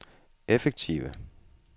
effektive